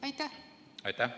Aitäh!